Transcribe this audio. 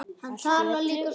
Allt í öllu.